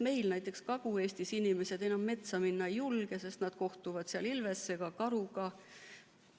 Meil näiteks Kagu-Eestis inimesed enam metsa minna ei julge, sest nad kohtuvad seal ilvese ja karuga,